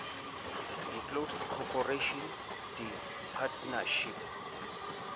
di close corporation di partnership